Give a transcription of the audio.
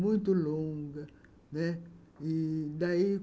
muito longa, né. E daí